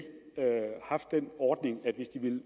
haft den ordning at hvis de ville